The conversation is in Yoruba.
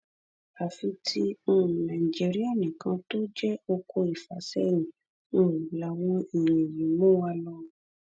àfi tí um nàìjíríà nìkan tó jẹ oko ìfàsẹyìn um làwọn èèyàn yìí ń mú wa lọ